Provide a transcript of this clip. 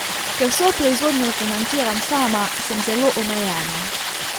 Ker vso proizvodnjo financiram sama, sem zelo omejena.